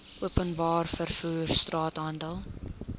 openbare vervoer straathandel